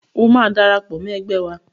O máa darapọ̀ mọ́ ẹgbẹ́ wa